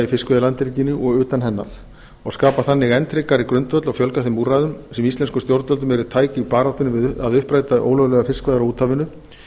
fiskveiðilandhelginni og utan hennar og skapa þannig enn tryggari grundvöll og fjölga þeim úrræðum sem íslenskum stjórnvöldum eru tæk í baráttunni við að uppræta ólöglegar fiskveiðar á úthafinu